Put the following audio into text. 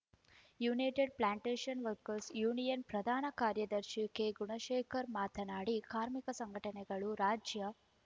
United plantation workers union ಪ್ರಧಾನ ಕಾರ್ಯದರ್ಶಿ ಕೆಗುಣಶೇಖರ್‌ ಮಾತನಾಡಿ ಕಾರ್ಮಿಕ ಸಂಘಟನೆಗಳು ರಾಜ್ಯ